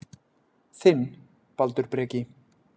Þinn, Baldur Breki.